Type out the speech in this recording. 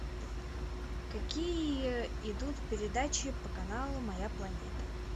какие идут передачи по каналу моя планета